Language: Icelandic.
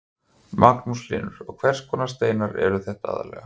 Magnús Hlynur: Og hvers konar steinar eru þetta aðallega?